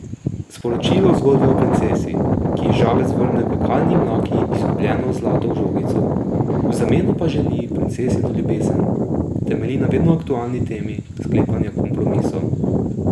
Sporočilo zgodbe o princesi, ki ji žabec vrne v kalni mlaki izgubljeno zlato žogico, v zameno pa želi princesino ljubezen, temelji na vedno aktualni temi sklepanja kompromisov.